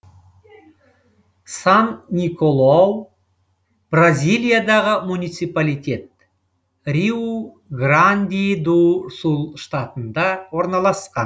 сан николау бразилиядағы муниципалитет риу гранди ду сул штатында орналасқан